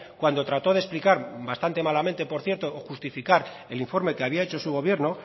cuando trató de explicar bastante malamente por cierto o justificar el informe que había hecho su gobierno